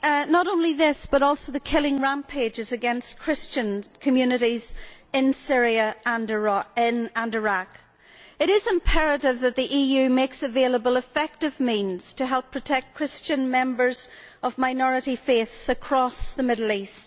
Not only this but also the killing rampages against Christian communities in Syria and Iraq. It is imperative that the EU makes available effective means to help protect Christian members of minority faiths across the Middle East.